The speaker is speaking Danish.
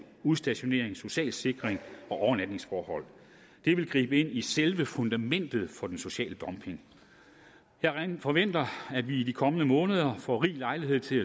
udstationering social sikring og overnatningsforhold det vil gribe ind i selve fundamentet for den sociale dumping jeg forventer at vi i de kommende måneder får rig lejlighed til